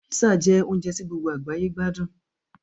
Písà jẹ́ oúnjẹ tí gbogbo àgbáyé gbádùn